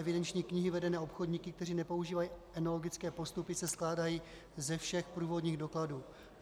Evidenční knihy vedené obchodníky, kteří nepoužívají enologické postupy, se skládají ze všech průvodních dokladů.